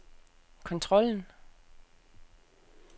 kontrollen